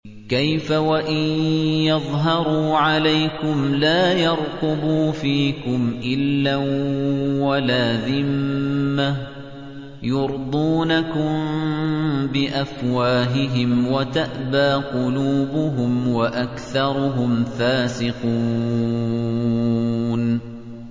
كَيْفَ وَإِن يَظْهَرُوا عَلَيْكُمْ لَا يَرْقُبُوا فِيكُمْ إِلًّا وَلَا ذِمَّةً ۚ يُرْضُونَكُم بِأَفْوَاهِهِمْ وَتَأْبَىٰ قُلُوبُهُمْ وَأَكْثَرُهُمْ فَاسِقُونَ